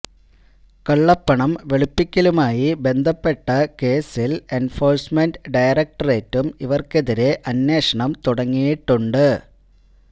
കള്ളപ്പണം വെളുപ്പിക്കലുമായി ബന്ധപ്പെട്ട കേസിൽ എൻഫോഴ്സ്മെന്റ് ഡയറക്ടറേറ്റും ഇവർക്കെതിരെ അന്വേഷണം തുടങ്ങിയിട്ടുണ്ട്